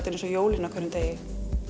er eins og jólin á hverjum degi